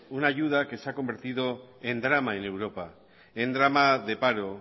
una ayuda que se ha convertido en drama en europa en drama de paro